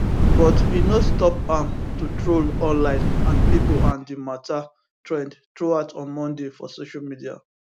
but e no stop am to troll online and pipo and di mata trend throughout on monday for social media